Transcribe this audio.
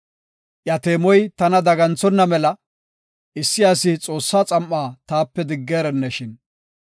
Iya teemoy tana daganthonna mela, issi asi Xoossaa xam7aa taape digereneshin!